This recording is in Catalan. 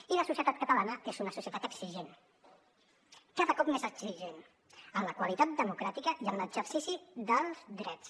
i la societat catalana és una societat exigent cada cop més exigent en la qualitat democràtica i en l’exercici dels drets